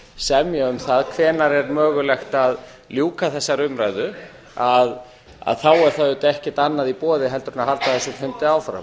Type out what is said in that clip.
semja um það hvenær er mögulegt að ljúka þessari umræðu er auðvitað ekkert annað í boði en að halda þessum fundi áfram